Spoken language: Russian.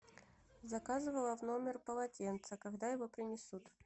заказывала в номер полотенце когда его принесут